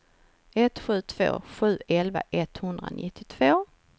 ett sju två sju elva etthundranittiotvå